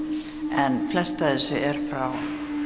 en flest af þessu er frá